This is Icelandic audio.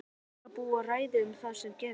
Er hann að undirbúa ræðu um það sem gerðist?